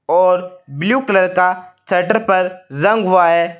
और blue colour का shutter पर रंग हुआ है।